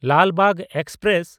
Lal Bagh express